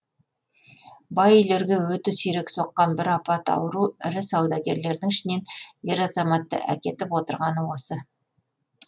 бай үйлерге өте сирек соққан бір апат ауру ірі саудагерлердің ішінен ер азаматты әкетіп отырғаны осы